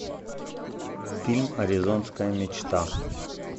фильм аризонская мечта